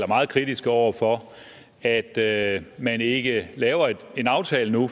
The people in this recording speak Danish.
meget kritiske over for at at man ikke laver en aftale nu